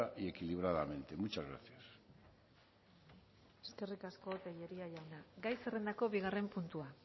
y equilibradamente muchas gracias eskerrik asko tellería jauna gai zerrendako bigarren puntua